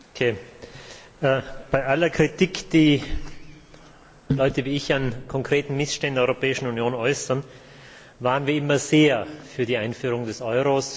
Frau Präsidentin! Bei aller Kritik, die Leute wie ich an konkreten Missständen in der Europäischen Union äußern, waren wir immer sehr für die Einführung des Euros.